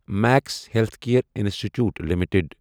Max healthcare institute limited